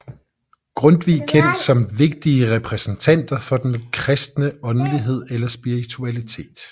Grundtvig kendt som vigtige repræsentanter for den kristne åndelighed eller spiritualitet